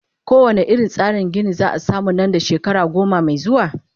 ko wane irin tsarin Gini zaa samu Nan da shekara goma Mai zuwa?